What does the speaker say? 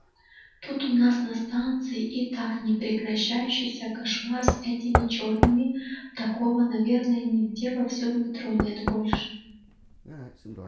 тут у нас на станции и так непрекращающийся кошмар с этими чёрными такого наверное нигде во всем метро нет больше